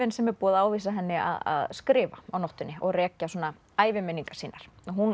sem er búið að ávísa henni að skrifa á nóttunni og rekja svona æviminningar sínar